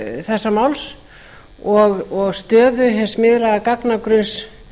þessa máls og stöðu hins miðlæga gagnagrunns